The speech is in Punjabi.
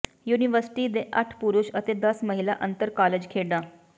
ਯੂਨੀਵਰਸਿਟੀ ਦੇ ਅੱਠ ਪੁਰਸ਼ ਅਤੇ ਦਸ ਮਹਿਲਾ ਅੰਤਰ ਕਾਲਜ ਖੇਡਾਂ